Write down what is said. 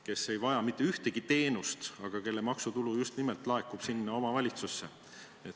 Nad ei vaja mitte ühtegi teenust, aga nende maksutulu laekub just nimelt sinna omavalitsusse.